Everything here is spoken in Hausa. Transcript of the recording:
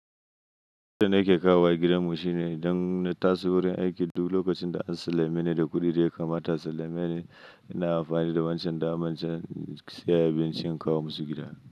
Wannan yake kawo wa gidanmu shine idan na taso wurin aiki duk lokacin da an sallame ni da kuɗi da ya kamata a sallame ni, ina amfani da wancan daman sayan abinci in kawo masu gida.